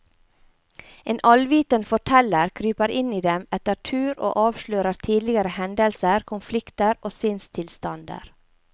En allvitende forteller kryper inn i dem etter tur og avslører tidligere hendelser, konflikter og sinnstilstander.